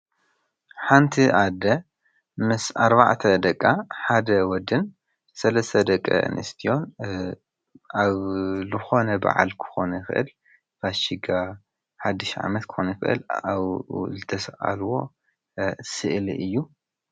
ሓንቲ ኣደ ምስ ኣርባዕተ ደቃ ሓደ ወድን ሰለስተ ደቂ ኣንስትዮ ኣብ ዝኮነ በዓል ክኮን ይክእል ፋሲጋ ሓዱሽ ዓመት ክኮን ይክእል ኣብኡ ዝተስኣልዎ ስእሊ እዩ።